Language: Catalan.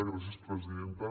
gràcies presidenta